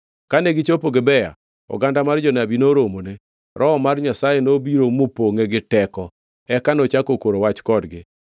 Kane gichopo Gibea, oganda mar jonabi noromone, Roho mar Nyasaye nobiro mopongʼe gi teko eka nochako koro wach kodgi.